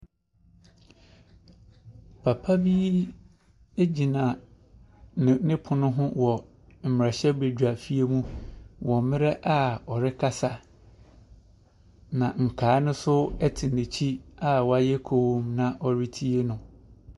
Papa bi gyina ne ne pono ho wɔ mmarahyɛbadwafie mu wɔ mmerɛ a ɔrekasa, na nkaeɛ no nso te n'akyi a wɔayɛ komm na wɔretie no.